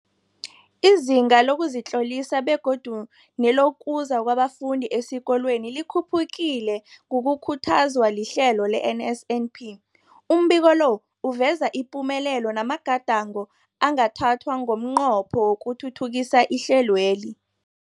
Izinga lokuzitlolisa begodu nelokuza kwabafundi esikolweni likhuphukile ngokukhuthazwa lihlelo le-NSNP. Umbiko lo uveza ipumelelo namagadango angathathwa ngomnqopho wokuthuthukisa ihlelweli.